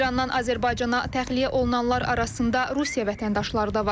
İrandan Azərbaycana təxliyə olunanlar arasında Rusiya vətəndaşları da var.